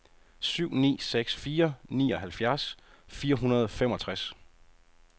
syv ni seks fire nioghalvfjerds fire hundrede og femogtres